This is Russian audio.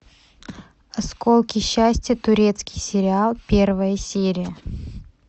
осколки счастья турецкий сериал первая серия